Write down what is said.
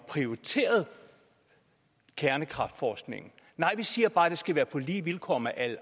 prioritere kernekraftforskningen nej vi siger bare at det skal være på lige vilkår med al